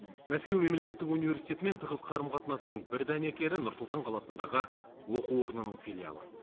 мәскеу мемлекеттік университетімен тығыз қарым қатынастың бір дәнекері нұр сұлтан қаласындағы оқу орнының филиалы